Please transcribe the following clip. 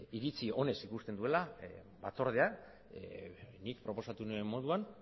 iritzi onez ikusten duela batzordea nik proposatu nuen moduan